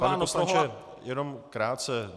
Pane poslanče, jenom krátce.